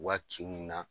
U ka kinw na